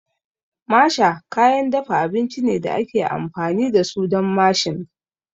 Masher kayan dafa abinci ne da ake amfani da su don mashing